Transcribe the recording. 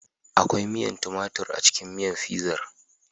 Akwai miyar tumatur a cikin miyar Fizan